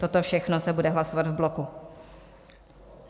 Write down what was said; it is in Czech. Toto všechno se bude hlasovat v bloku.